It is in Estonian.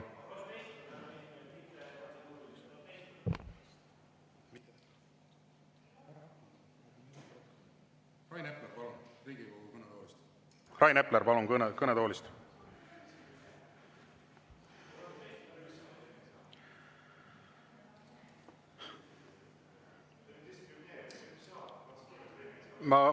Rain Epler, palun, Riigikogu kõnetoolist!